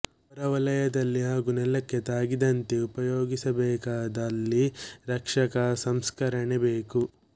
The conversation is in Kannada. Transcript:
ಹೊರವಲಯದಲ್ಲಿ ಹಾಗೂ ನೆಲಕ್ಕೆ ತಾಗಿದಂತೆ ಉಪಯೋಗಿಸಬೇಕಾದಲ್ಲಿ ರಕ್ಷಕ ಸಂಸ್ಕರಣೆ ಬೇಕು